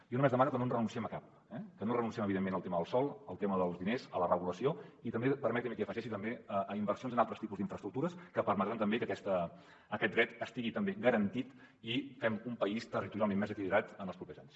jo només demano que no renunciem a cap que no renunciem evidentment al tema del sòl al tema dels diners a la regulació i també permeti’m que l’hi afegeixi a inversions en altres tipus d’infraestructures que permetran també que aquest dret estigui garantit i fem un país territorialment més equilibrat en els propers anys